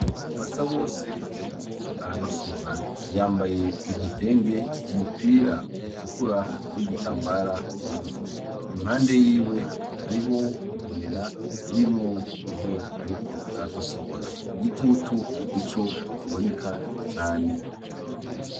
Basa bose ariko aragosora, yambaye igitenge umupira utukura n'igitambara mu mutwe impande yiwe hariho igunira ririmwo ivyo ariko aragosora igitutu nico kiboneka cane.